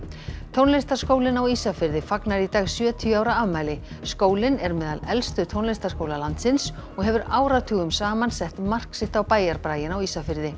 tónlistarskólinn á Ísafirði fagnar í dag sjötíu ára afmæli skólinn er meðal elstu tónlistarskóla landsins og hefur áratugum saman sett mark sitt á bæjarbraginn á Ísafirði